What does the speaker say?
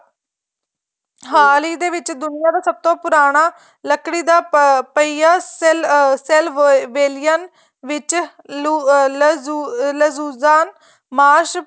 ਹਾਲ ਏ ਦੇ ਵਿੱਚ ਦੁਨੀਆਂ ਦਾ ਸਭ ਤੋ ਪੁਰਾਣਾ ਲਕੜੀ ਦਾ ਪਹਿਆਂ cell ਅਹ cell wiling ਵਿੱਚ